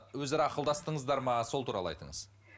өзара ақылдастыңыздар ма сол туралы айтыңыз